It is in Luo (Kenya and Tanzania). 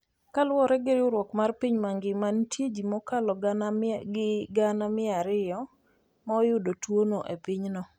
Kaluwore gi riwruok mar piny mangima, nitie ji mokalo gana gi gana mia ariyo ma oyudo tuwono e pinyno.